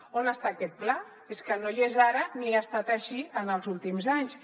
on està aquest pla és que no hi és ara ni ha estat així en els últims anys